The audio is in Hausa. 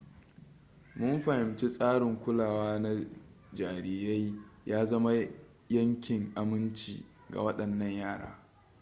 mun fahimci tsarin kulawa na jarirai ya zama yankin aminci ga waɗannan yara